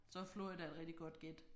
Så er Florida et rigtig godt gæt